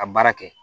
Ka baara kɛ